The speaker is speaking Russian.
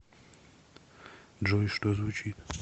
джой что звучит